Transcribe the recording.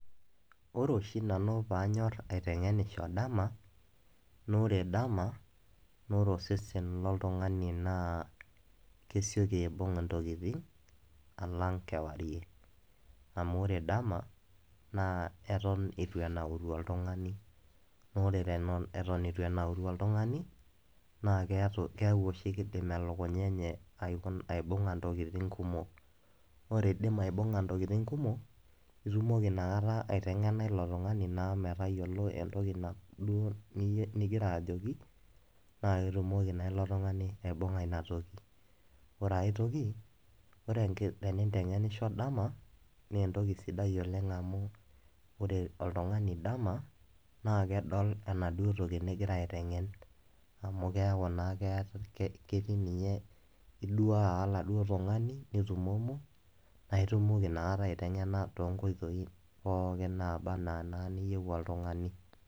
Ore oshi nanu panyor aitengenisho dama noo ore ama noore osesen loltungani naa kesioki aibung ntokitin alang kewarie amu ore dama naa eton itu enauru oltungani naa ore eton itu enauru oltungani naa keaku oshi kidim elukunya enye aibunga ntokitin kumok. Ore idim aibunga ntokitin kumok itumoki inakata aitengena ilo tungani metayiolo entoki duo ningira ajoki naa ketumoki naa ilo tungani aibunga ina toki. Ore aetoki ore enki, ore tenitengenisho dama naa entoki sidai oleng amu ore oltungani dama naa kedol enaduo toki ningira aitengen amu keaku ninye ketii, iduaa oladuoo tungani , nitumomo naa itumoki inakata aitengena toonkoitoi pookin naba anaa iniyieu oltungani .